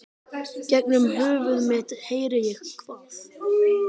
Gegnum höfuð mitt heyri ég hvað